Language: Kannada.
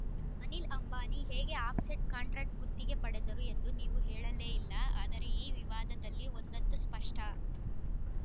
ಅನಿಲ್‌ ಅಂಬಾನಿ ಹೇಗೆ ಆಫ್‌ಸೆಟ್‌ ಕಾಂಟ್ರಾಕ್ಟ್ ಗುತ್ತಿಗೆ ಪಡೆದರು ಎಂದು ನೀವು ಹೇಳಲೇ ಇಲ್ಲ ಆದರೆ ಈ ವಿವಾದದಲ್ಲಿ ಒಂದಂತೂ ಸ್ಪಷ್ಟ